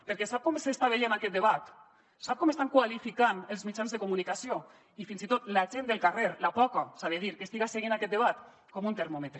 perquè sap com s’està veient aquest debat sap com l’estan qualificant els mitjans de comunicació i fins i tot la gent del carrer la poca s’ha de dir que estiga seguint aquest debat com un termòmetre